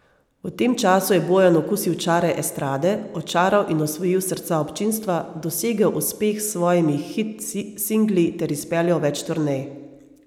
V tem času je Bojan okusil čare estrade, očaral in osvojil srca občinstva, dosegel uspeh s svojimi hit singli ter izpeljal več turnej.